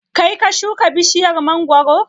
Kaii ka shuka bishiyar mangoro?